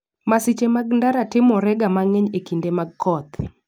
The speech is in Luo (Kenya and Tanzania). Masiche mag ndara timorega mang'eny e kinde koth.